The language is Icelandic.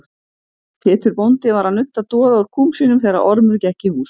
Pétur bóndi var að nudda doða úr kúm sínum þegar Ormur gekk í hús.